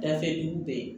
Dafɛ dugu bɛɛ